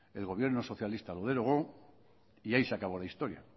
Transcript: el gobierno socialista lo derogó y ahí se acabó la historia